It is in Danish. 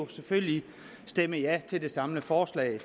selvfølgelig stemme ja til det samlede forslag